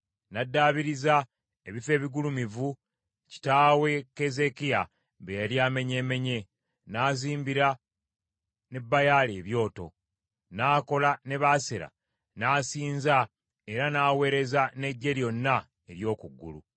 N’addaabiriza ebifo ebigulumivu kitaawe Keezeekiya bye yali amenyeemenye, n’azimbira ne Baali ebyoto, n’akola ne Baasera, n’asinza era n’aweereza n’eggye lyonna ery’oku ggulu.